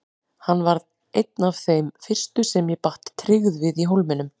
Hann varð einn af þeim fyrstu sem ég batt tryggð við í Hólminum.